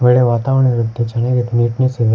ಆಕಡೆ ವಾತಾವರಣವಿರುತ್ತೆ ಚೆನ್ನಾಗಿದೆ ನೆಟ್ನೆಸ್ ಇದೆ.